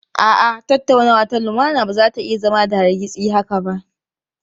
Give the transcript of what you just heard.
A'a, tattaunawa ta lumana ba za ta iya zama da hargitsi haka ba.